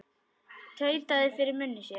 Tautaði fyrir munni sér.